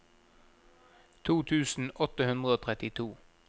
to tusen åtte hundre og trettito